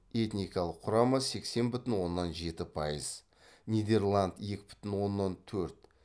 этникалық құрамы сексен бүтін оннан жеті пайыз нидерланд екі бүтін оннан төрт